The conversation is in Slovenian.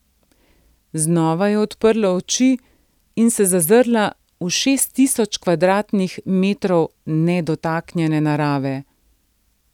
Znova je odprla oči in se zazrla v šest tisoč kvadratnih metrov nedotaknjene narave.